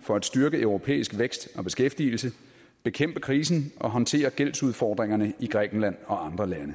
for at styrke europæisk vækst og beskæftigelse bekæmpe krisen og håndtere gældsudfordringerne i grækenland og andre lande